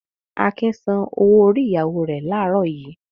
Akin san owó-orí ìyàwó rẹ̀ láàárọ̀ yìí.